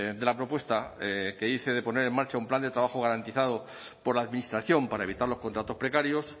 de la propuesta que hice de poner en marcha un plan de trabajo garantizado por la administración para evitar los contratos precarios